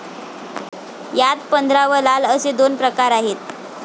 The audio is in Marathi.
यात पंधरा व लाल असे दोन प्रकार आहेत.